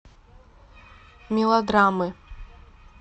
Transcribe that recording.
мелодрамы